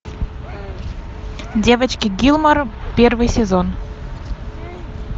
девочки гилмор первый сезон